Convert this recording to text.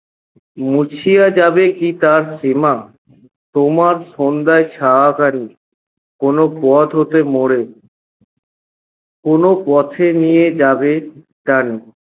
মুছিয়া যাবে কী তার সীমা? তেমার সন্ধ্যার ছায়াখানি কোন পথ হতে মোরে কোনো পথে নিয়ে যাবে টানি